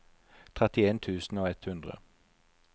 trettien tusen og ett hundre